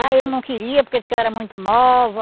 Ah, ele não queria porque disse que eu era muito nova.